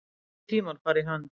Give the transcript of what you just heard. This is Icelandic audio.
Nýir tímar fara í hönd